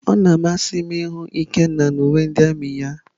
Ọ na-amasị m ịhụ Ikenna na uwe ndị armiị ya.